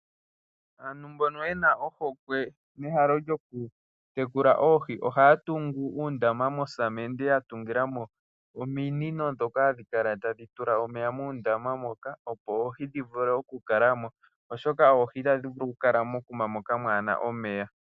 Aantu mboka yena ohokwe nehalo lyokutekula oohi ohaya tungu uundama nosamende yatungilamo ominino dhoka tadhi kala tadhi tula omeya muundama moka. Opo oohi dhivule okukala mo, oshoka oohi itadhi vulu okukala mokuma moka kamuna omeya.